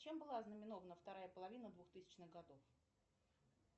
чем была знаменована вторая половина двухтысячных годов